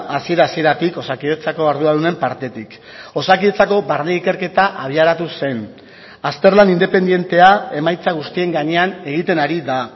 hasiera hasieratik osakidetzako arduradunen partetik osakidetzako barne ikerketa abiaratu zen azterlan independentea emaitza guztien gainean egiten ari da